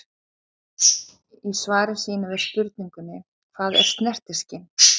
Í svari sínu við spurningunni Hvað er snertiskyn?